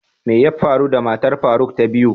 mai yabfaru da matar faruk ta biyu?